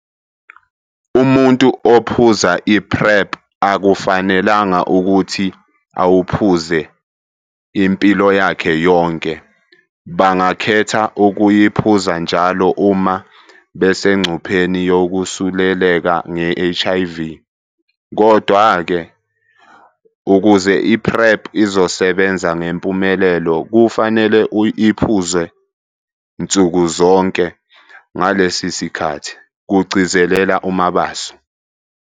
"Umuntu ophuza i-PrEP akufanelanga ukuthi awuphuze impilo yakhe yonke, bangakhetha ukuyiphuza njalo uma besengcupheni yokusuleleka nge-HIV. Kodwa-ke, ukuze i-PrEP izosebenza ngempumelelo, kufanele iphuzwe nsuku zonke, ngalesi sikhathi," kugcizelela uMabaso.